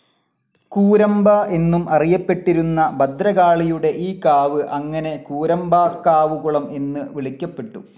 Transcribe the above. കൂരമ്പ എന്നും അറിയപ്പെട്ടിരുന്ന ഭദ്രകാളിയുടെ ഈ കാവ് അങ്ങനെ കൂരമ്പാക്കാവുകുളം എന്ന് വിളിക്കപ്പെട്ടു.